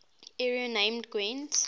area named gwent